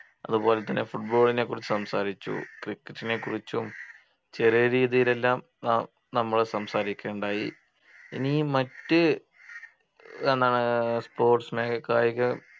അതുപോലെതന്നെ football നെക്കുറിച്ച് cricket നെക്കുറിച്ചും ചെറിയ രീതിയിലെല്ലാം നാം നമ്മള് സംസാരിക്കുകയുണ്ടായി ഇനി മറ്റ് എന്നാന്ന് sports മേ കായിക